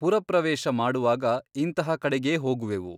ಪುರಪ್ರವೇಶ ಮಾಡುವಾಗ ಇಂತಹ ಕಡೆಗೇ ಹೋಗುವೆವು.